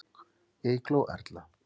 Eygló Erla.